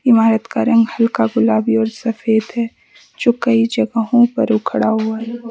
इमारत का रंग हल्का गुलाबी और सफेद है जो कई जगहों पर उखड़ा हुआ--